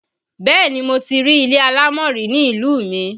Bẹ́ẹ̀ni, mo ti rí ilé alámọ̀ rí ní ìlú mi